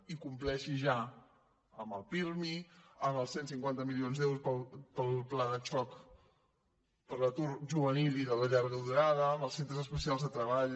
i compleixi ja amb el pirmi amb els cent i cinquanta milions d’euros per al pla de xoc per l’atur juvenil i de la llarga durada amb els centres especials de treball